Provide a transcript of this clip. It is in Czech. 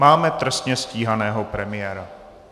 Máme trestně stíhaného premiéra.